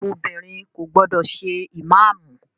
Obìnrin kò gbọdọ̀ ṣe ìmáàmù!